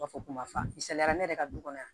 U b'a fɔ ko mafi misaliya ne yɛrɛ ka du kɔnɔ yan